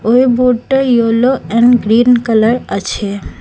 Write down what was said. ওই বোটটা yellow and green colour আছে।